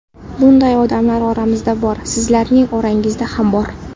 Bunday odamlar oramizda bor, sizlarning orangizda ham bor.